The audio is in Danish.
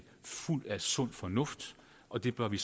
fuld af sund fornuft og det bør vi